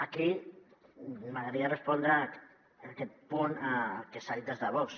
aquí m’agradaria respondre en aquest punt al que s’ha dit des de vox